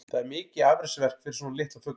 Það er mikið afreksverk fyrir svona litla fugla.